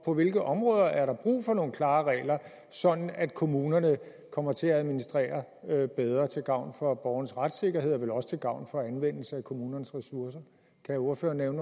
på hvilke områder der er brug for nogle klare regler sådan at kommunerne kommer til at administrere bedre til gavn for borgernes retssikkerhed og vel også til gavn for anvendelsen af kommunernes ressourcer kan ordføreren